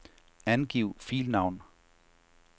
Angiv filnavn.